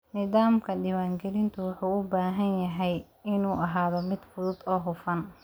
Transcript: Nidaamka diiwaangelintu wuxuu u baahan yahay inuu ahaado mid fudud oo hufan.